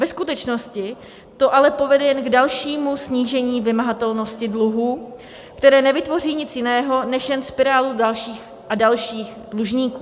Ve skutečnosti to ale povede jen k dalšímu snížení vymahatelnosti dluhů, které nevytvoří nic jiného než jen spirálu dalších a dalších dlužníků.